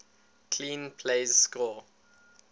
clean plays score